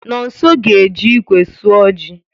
Nonso ga-eji ikwe sụọ ji